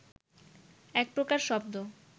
একপ্রকার শব্দ